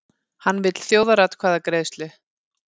Hann vill þjóðaratkvæðagreiðslu